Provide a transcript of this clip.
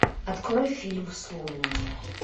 открой фильм сломленные